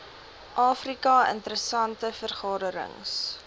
afrika interessante veranderings